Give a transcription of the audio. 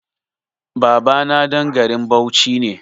Babana ɗan garin Bauchi ne.